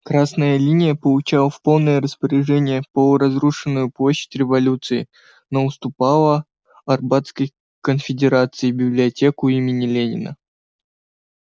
красная линия получала в полное распоряжение полуразрушенную площадь революции но уступала арбатской конфедерации библиотеку имени ленина